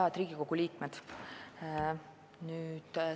Head Riigikogu liikmed!